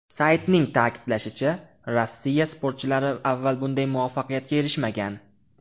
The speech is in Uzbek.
Saytning ta’kidlashicha, Rossiya sportchilari avval bunday muvaffaqiyatga erishmagan.